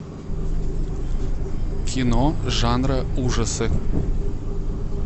кино жанра ужасы